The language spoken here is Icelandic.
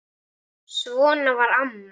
Ásgeir segir ekkert.